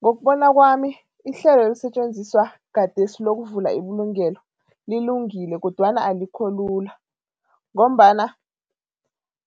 Ngokubona kwami, ihlelo elisetjenziswa gadesi lokuvula ibulungelo lilungile kodwana alikho lula ngombana